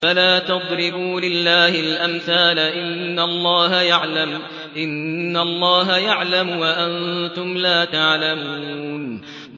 فَلَا تَضْرِبُوا لِلَّهِ الْأَمْثَالَ ۚ إِنَّ اللَّهَ يَعْلَمُ وَأَنتُمْ لَا تَعْلَمُونَ